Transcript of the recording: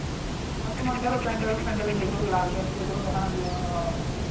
আর তোমার ধরো প্যান্ডেল ফ্যান্ডেল যেগুলো লাগে আরকি ওগুলো ভাড়া দেয়া নেয়া হবে